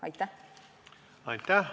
Aitäh!